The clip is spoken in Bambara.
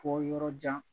Fɔ yɔrɔ jan